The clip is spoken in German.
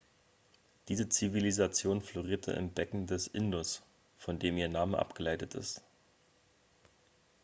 diese zivilisation florierte im becken des indus von dem ihr name abgeleitet ist